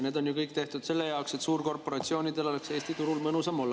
Need on ju kõik tehtud selle jaoks, et suurkorporatsioonidel oleks Eesti turul mõnusam olla.